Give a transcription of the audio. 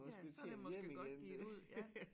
Ja så det måske godt givet ud ja